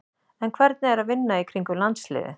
En hvernig er að vinna í kringum landsliðið?